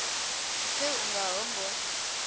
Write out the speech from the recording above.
pfe u nga ho ngo